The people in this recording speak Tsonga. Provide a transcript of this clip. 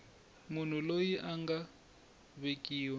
munhu loyi a nga vekiwa